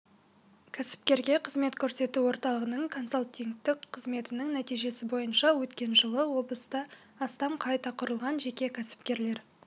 кәсіпкерге қызмет көрсету орталығының консалтингтік қызметінің нәтижесі бойынша өткен жылы облыста астам қайта құрылған жеке кәсіпкерлер